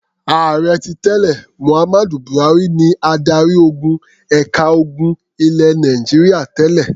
Ààrẹ tí tẹ́lẹ̀ Mohammed Buhari ni adarí-ogun ẹ̀ka ogun ilẹ̀ Nàìjíríà tẹ́lẹ̀.